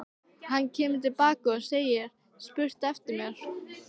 Hann kemur til baka og segir spurt eftir mér.